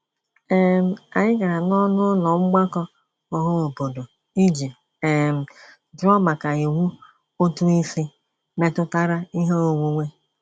um Anyị gara n'ọnụụlọ mgbakọ ọhaobodo iji um jụọ maka iwu ụtụisi metụtara ihe onwunwe.